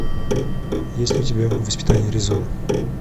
есть ли у тебя воспитание аризоны